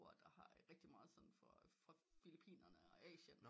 Hvor der har rigtig meget sådan fra Filippinerne og Asien